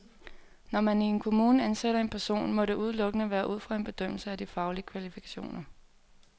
Når man i en kommune ansætter en person, må det udelukkende være ud fra en bedømmelse af de faglige kvalifikationer.